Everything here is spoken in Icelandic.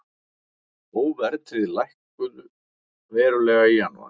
Óverðtryggð lækkuðu verulega í janúar